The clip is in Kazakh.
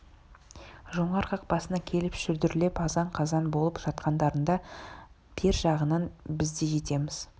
жоңғар қақпасына келіп шүлдірлеп азан-қазан болып жатқандарында бер жағынан біз де жетеміз